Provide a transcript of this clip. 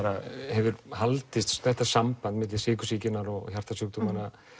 hefur haldist þetta samband milli sykursýkinnar og hjartasjúkdóma